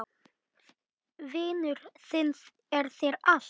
Vinur þinn er þér allt.